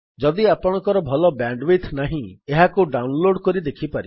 ଯଦି ଆପଣଙ୍କର ଭଲ ବ୍ୟାଣ୍ଡୱିଡଥ୍ ନାହିଁ ଏହାକୁ ଡାଉନଲୋଡ୍ କରି ଦେଖିପାରିବେ